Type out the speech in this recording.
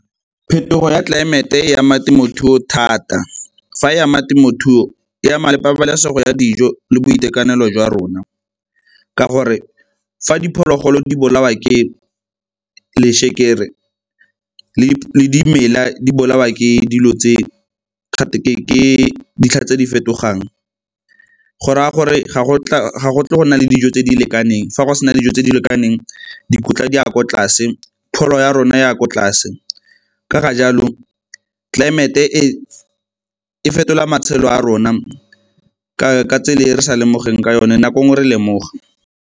Phetogo ya tlelaemete e ama temothuo thata, fa e ama temothuo e ama pabalesego ya dijo le boitekanelo jwa rona ka gore fa diphologolo di bolawa ke le le dimela di bolawa ke dilo tse, ke ditlha tse di fetogang, go raya gore ga go tle go nna le dijo tse di lekaneng. Fa go sena dijo tse di lekaneng dikotla di ko tlase, pholo ya rona e ya ko tlase. Ka ga jalo tlelaemete e fetola matshelo a rona ka tsela e re sa lemogeng ka yone nako e nngwe re lemoga.